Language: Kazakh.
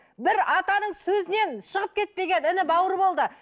бір атаның сөзінен шығып кетпеген іні бауыр болды